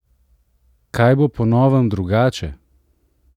Kaj bo po novem drugače?